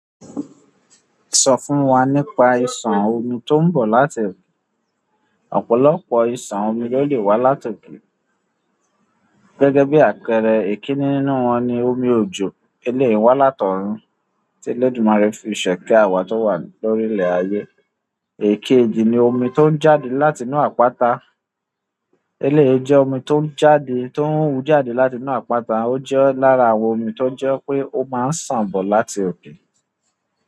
Sọ fún wa nípa ìsàn omi tó ń bọ̀ láti òkè. Ọ̀pọ̀lọpọ̀ ìsàn omi ló lè wá láti òkè. Gẹ́gẹ́ bí àpẹẹrẹ, ikiní nínú wọn ni omi òjòọ, eléyi wá láti òrun tí Olódùmarè fi ṣe ike awa tó wà lórílẹ̀ ayé. Èkéjì ni òmi tó ń jáde látinú àpáta. Eléyii jẹ́ omi tó ń jáde, tó ń wujade látinú àpáta. Ó jẹ́ lára àwọn omi tó jẹ́ pé ó máa ń sàn bọ̀ láti òkè.